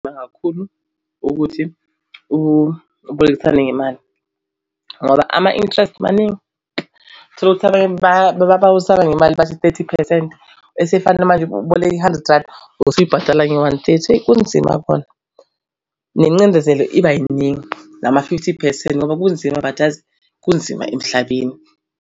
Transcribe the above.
Kakhulu ukuthi ubolekisane ngemali ngoba ama-interest maningi uthole ukuthi abanye babolekisana ngemali bathi thirty phesenti. Esefana manje uboleke hundred randi usuyibhatalanga nge-one thirty. Kunzima kona nengcindezelo iba iningi nama-fifty percent, ngoba kunzima but yazi kunzima emhlabeni.